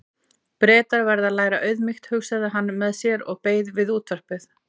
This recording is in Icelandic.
Bretar verða að læra auðmýkt, hugsaði hann með sér og beið við útvarpið.